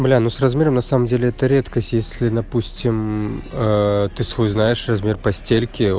бля ну с размером на самом деле это редкость если допустим ты свой знаешь размер постельки